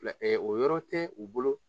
o yɔrɔ tɛ u bolo.